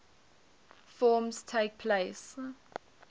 forms takes place